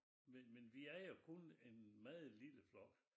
Men men vi er jo kun en meget lille flok